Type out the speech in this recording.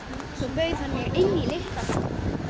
Svo bauð hann mér inn í litla kompu.